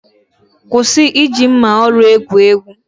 kwụsị iji mma oru egwu egwu!